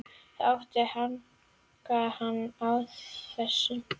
Það átti að hanka hann á þessu.